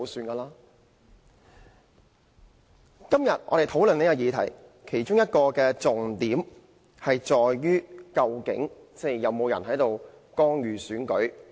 我們今天討論這項議案，其中一個重點是究竟有沒有人干預選舉？